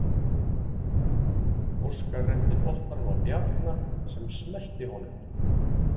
Óskar renndi boltanum á Bjarna sem smellti honum.